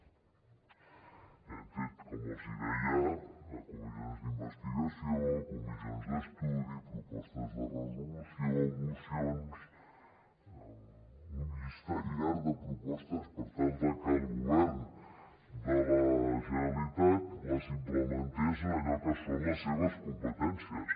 hem fet com els deia comissions d’investigació comissions d’estudi propostes de resolució mocions un llistat llarg de propostes per tal de que el govern de la generalitat les implementés en allò que són les seves competències